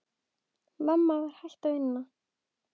Mamma var hætt að vinna.